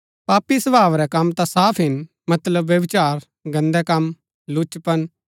पापी स्वभाव रै कम ता साफ हिन मतलब व्यभिचार गन्दै कम लुचपन